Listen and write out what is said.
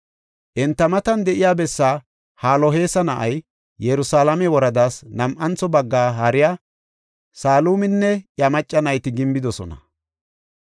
Enta matan de7iya bessaa Haloheesa na7ay, Yerusalaame woradaas nam7antho baggaa haariya Saluminne iya macca nayti gimbidosona.